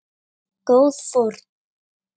Góð fórn.